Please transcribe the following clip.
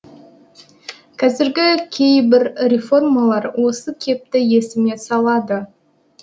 қазіргі кейбір реформалар осы кепті есіме салады